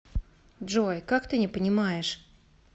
джой как ты не понимаешь